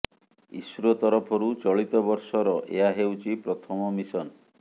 ISRO ତରଫରୁ ଚଳିତ ବର୍ଷର ଏହା ହେଉଛି ପ୍ରଥମ ମିଶନ